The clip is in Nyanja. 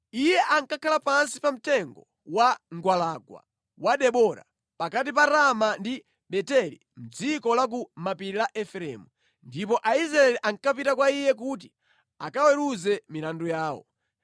Iye ankakhala pansi pa mtengo wa mgwalangwa wa Debora, pakati pa Rama ndi Beteli mʼdziko la ku mapiri la Efereimu, ndipo Aisraeli ankapita kwa iye kuti akaweruze milandu yawo.